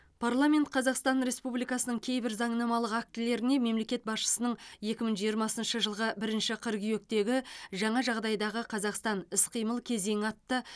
парламент қазақстан республикасының кейбір заңнамалық актілеріне мемлекет басшысының екі мың жиырмасыншы жылғы бірінші қыркүйектегі жаңа жағдайдағы қазақстан іс қимыл кезеңі атты